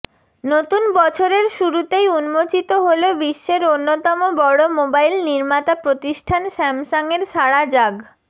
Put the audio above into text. নতুন বছরের শুরুতেই উন্মোচিত হলো বিশ্বের অন্যতম বড় মোবাইল নির্মাতা প্রতিষ্ঠান স্যামসাংয়ের সাড়া জাগ